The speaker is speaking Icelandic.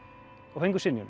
og fengu synjun